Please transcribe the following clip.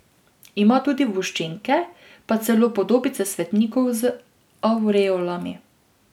Ima tudi voščenke pa celo podobice svetnikov z avreolami.